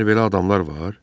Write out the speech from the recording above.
Məyər belə adamlar var?